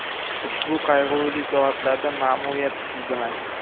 Ushbu qayg‘uli soatlarda ma’muriyat siz bilan.